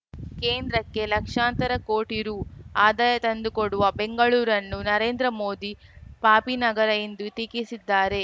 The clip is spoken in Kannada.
ಕೇಂದ್ರಕ್ಕೆ ಲಕ್ಷಾಂತರ ಕೋಟಿ ರು ಆದಾಯ ತಂದುಕೊಡುವ ಬೆಂಗಳೂರನ್ನು ನರೇಂದ್ರ ಮೋದಿ ಪಾಪಿನಗರಿ ಎಂದು ಟೀಕಿಸಿದ್ದಾರೆ